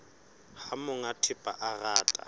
ha monga thepa a rata